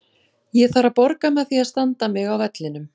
Ég þarf að borga með því að standa mig á vellinum.